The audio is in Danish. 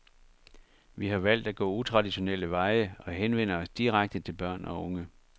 Vi har valgt at gå utraditionelle veje og henvender os direkte til børn og unge.